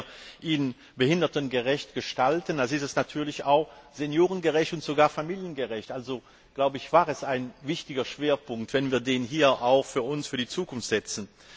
Wenn wir ihn behindertengerecht gestalten, dann ist er natürlich auch seniorengerecht und sogar familiengerecht. Also war es ein wichtiger Schwerpunkt, wenn wir ihn uns auch für die Zukunft setzen.